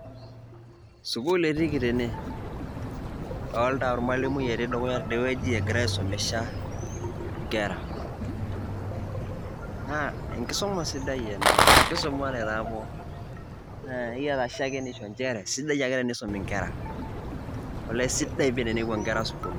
sukuul etiiki tene, idoolta ormalimui etii dukuya teidie wueji, egira aisumisha nkera. naa enkisuma sidai ena amu kisumate taa pookin, naa ekiata shakenisho nchere sidai ake tenisumi nkera. olee sidai pii tenepuo nkera sukuul.